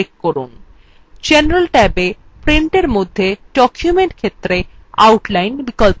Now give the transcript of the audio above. igeneral ট্যাবএ printin মধ্যে document ক্ষেত্রে outline বিকল্পটি নির্বাচন করুন